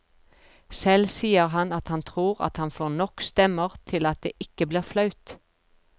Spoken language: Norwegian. Selv sier han at han tror at han får nok stemmer til at det ikke blir flaut.